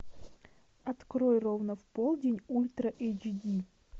открой ровно в полдень ультра эйч ди